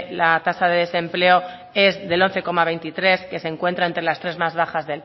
la tasa de desempleo es de once coma veintitrés que se encuentra entre las tres más bajas